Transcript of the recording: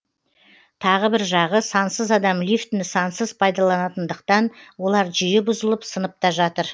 тағы бір жағы сансыз адам лифтіні сансыз пайдаланатындықтан олар жиі бұзылып сынып та жатыр